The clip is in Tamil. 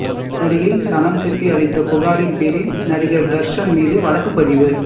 நடிகை சனம் ஷெட்டி அளித்த புகாரின் பேரில் நடிகா் தா்ஷன் மீது வழக்குப் பதிவு